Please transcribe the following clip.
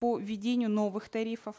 по введению новых тарифов